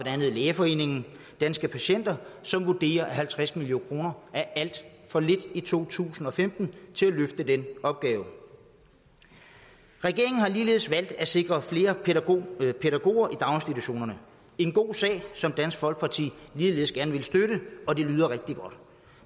andet lægeforeningen og danske patienter som vurderer at halvtreds million kroner er alt for lidt i to tusind og femten til at løfte den opgave regeringen har ligeledes valgt at sikre flere pædagoger i daginstitutionerne en god sag som dansk folkeparti ligeledes gerne vil støtte og det lyder rigtig godt